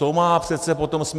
To má přece potom smysl.